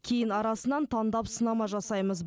кейін арасынан таңдап сынама жасаймыз